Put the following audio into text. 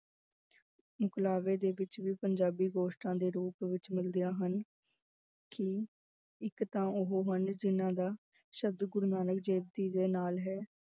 ਮੁਕਲਾਵੇ ਦੇ ਵਿੱਚ ਵੀ ਪੰਜਾਬੀ ਗੋਸ਼ਟਾਂ ਦੇ ਰੂਪ ਵਿੱਚ ਮਿਲਦੀਆਂ ਹਨ ਕਿ ਇੱਕ ਤਾਂ ਉਹ ਹਨ ਜਿਹਨਾਂ ਦਾ ਸ਼ਬਦ ਗੁਰੂ ਨਾਨਕ ਦੇਵ ਜੀ ਦੇ ਨਾਲ ਹੈ।